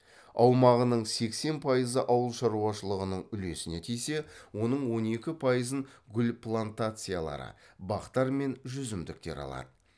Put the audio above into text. аумағының сексен пайызы ауыл шаруашылығының үлесіне тисе оның он екі пайызын гүл плантациялары бақтар мен жүзімдіктер алады